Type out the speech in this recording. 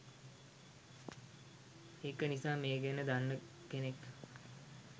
ඒක නිසා මේ ගැන දන්නා කෙනෙක්